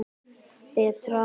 Betra en hjá öllum hinum.